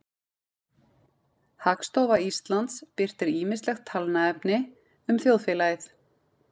hagstofa íslands birtir ýmislegt talnaefni um þjóðfélagið